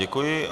Děkuji.